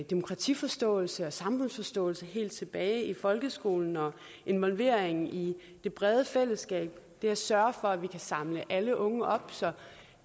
demokratiforståelse og samfundsforståelse helt tilbage i folkeskolen og involvering i det brede fællesskab ved at sørge for at vi kan samle alle unge op så